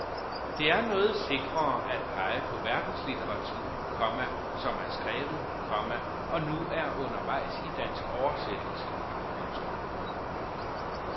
Det er noget sikrere at pege på verdenslitteratur, komma som er skrevet, komma og nu er undervejs i dansk oversættelse. punktum